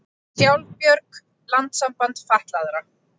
Sjálfbjörg, landssamband fatlaðra